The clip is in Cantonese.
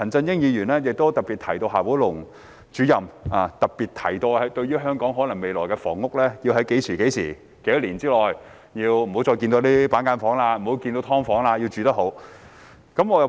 另一方面，陳振英議員特別提到，就香港未來的房屋，夏寶龍主任強調要在多少年之內不要再看到板間房、"劏房"，要住得好。